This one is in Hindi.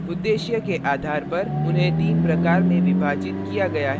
उद्देश्य के आधार पर उन्हें तीन प्रकार में विभाजित किया गया है :